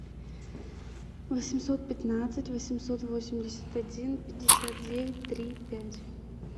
восемьсот пятнадцать восемьсот восемьдесят один пятьдесят девять три пять